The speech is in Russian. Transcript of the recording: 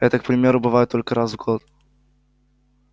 это к примеру бывает только раз в год